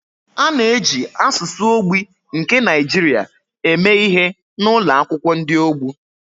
A na-eji asụsụ ogbi nke Nigeria eme ihe n’ụlọ akwụkwọ ndị ogbu.